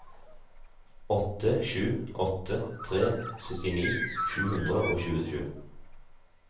åtte sju åtte tre syttini sju hundre og tjuesju